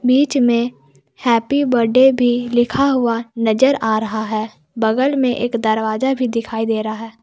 बीच में happy birthday भी लिखा हुआ नजर आ रहा है बगल में एक दरवाजा भी दिखाई दे रहा है।